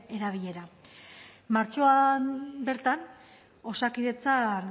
erabilera martxoan bertan osakidetzan